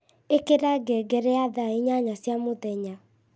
ĩkĩra ngengere ya thaa inyanya cia mũthenya